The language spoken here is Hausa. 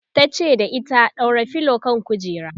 tace da ita"ɗaura filo kan kujera!"